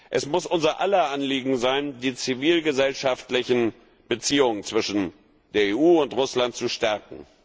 Es muss unser aller Anliegen sein, die zivilgesellschaftlichen Beziehungen zwischen der EU und Russland zu stärken.